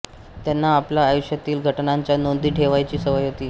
त्यांना आपल्या आयुष्यातील घटनांच्या नोंदी ठेवण्याची सवय होती